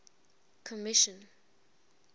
commission